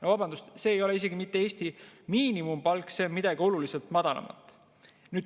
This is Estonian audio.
No vabandust, see ei ole isegi mitte Eesti miinimumpalk, see on midagi oluliselt madalamat.